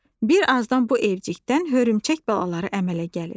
Bir azdan bu evcikdən hörümçək balaları əmələ gəlir.